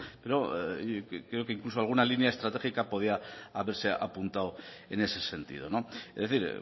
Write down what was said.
pero creo que incluso alguna línea estratégica podía haberse apuntado en ese sentido es decir